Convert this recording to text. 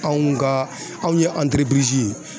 Anw ka anw ye ye